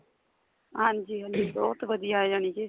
ਹਾਂਜੀ ਹਾਂਜੀ ਬਹੁਤ ਵਧੀਆ ਜਾਨੀ ਕੀ